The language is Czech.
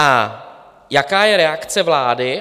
A jaká je reakce vlády?